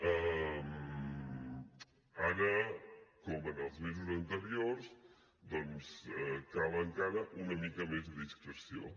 ara com en els mesos anteriors doncs cal encara una mica més de discreció